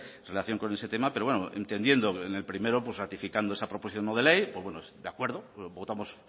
en relación con este tema pero entendiendo el primero pues ratificando esa proposición no de ley pues bueno de acuerdo votamos